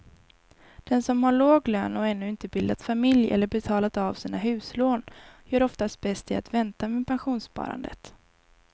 Den som har låg lön och ännu inte bildat familj eller betalat av sina huslån gör oftast bäst i att vänta med pensionssparandet.